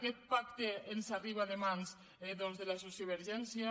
aquest pacte ens arriba de mans de la sociovergència